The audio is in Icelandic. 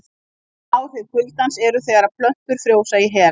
Bein áhrif kuldans eru þegar plöntur frjósa í hel.